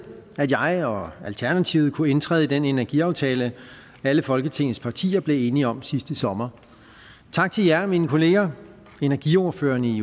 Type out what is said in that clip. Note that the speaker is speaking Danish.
at jeg og alternativet kunne indtræde i den energiaftale alle folketingets partier blev enige om sidste sommer tak til jer mine kollegaer energiordførerne